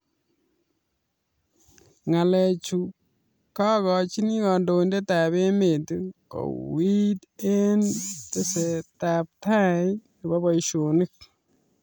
Ngalechu kokachin kandoindet ab emet kouit eng testaet ab boishonik